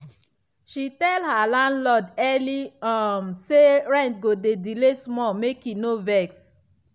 she tell her landlord early um say rent go delay small make e no vex.